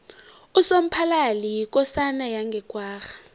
usomphalali yikosana yange kwagga